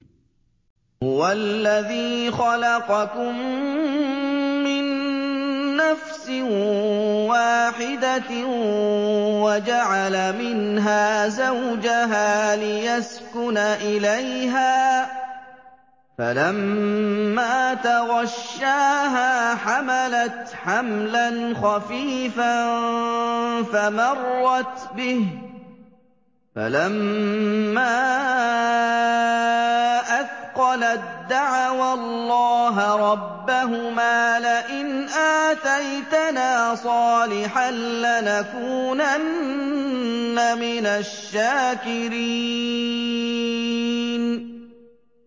۞ هُوَ الَّذِي خَلَقَكُم مِّن نَّفْسٍ وَاحِدَةٍ وَجَعَلَ مِنْهَا زَوْجَهَا لِيَسْكُنَ إِلَيْهَا ۖ فَلَمَّا تَغَشَّاهَا حَمَلَتْ حَمْلًا خَفِيفًا فَمَرَّتْ بِهِ ۖ فَلَمَّا أَثْقَلَت دَّعَوَا اللَّهَ رَبَّهُمَا لَئِنْ آتَيْتَنَا صَالِحًا لَّنَكُونَنَّ مِنَ الشَّاكِرِينَ